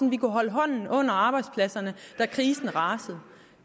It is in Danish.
at vi kunne holde hånden under arbejdspladserne da krisen rasede